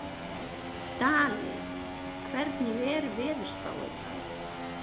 Daley, hvernig er veðurspáin?